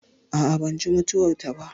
A'a, ban ji mutuwar ta ba